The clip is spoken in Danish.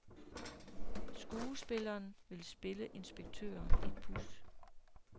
Skuespilleren vil spille inspektøren et puds.